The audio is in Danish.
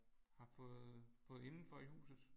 Har fået fået indenfor i huset